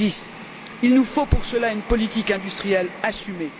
2010. Il nous faut pour cela une politique industrielle assumée.